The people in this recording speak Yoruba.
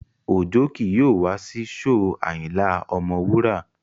Òjó ki yóò wá sí shóò Ayinla Ọmọwura